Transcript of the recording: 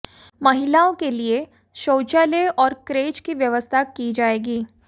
महिलाओं के लिए शौचालय और क्रेच की व्यवस्था की जाएगी